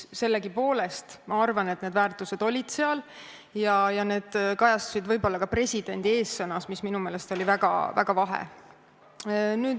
Sellegipoolest ma arvan, et need väärtused seal olid ja need kajastusid võib-olla ka presidendi eessõnas, mis minu meelest oli väga vahe.